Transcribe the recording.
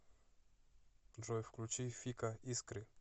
джой включи фика искры